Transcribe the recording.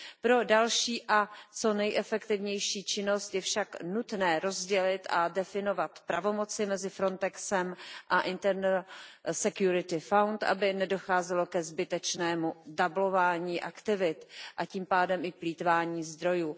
Pro další a co nejefektivnější činnost je však nutné rozdělit a definovat pravomoci mezi Frontexem a Fondem pro vnitřní bezpečnost, aby nedocházelo ke zbytečnému zdvojování aktivit, a tím pádem i plýtvání zdrojů.